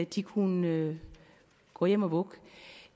de kunne gå hjem og vugge